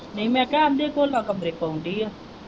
ਨਹੀਂ ਮੈਂ ਕਿਹਾ ਉਂਦੀ ਕੋਲਾ ਕਮਰੇ ਤੋਂ ਆਉਂਦੀ ਹੈ।